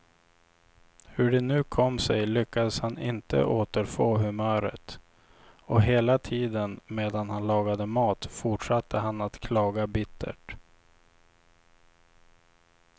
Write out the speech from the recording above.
Hur det nu kom sig lyckades han inte återfå humöret, och hela tiden medan han lagade mat fortsatte han att klaga bittert.